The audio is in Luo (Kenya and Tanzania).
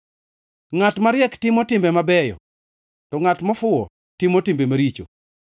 Ngʼat mariek timo timbe mabeyo, to ngʼat mofuwo timo timbe maricho.